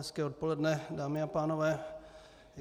Hezké odpoledne, dámy a pánové.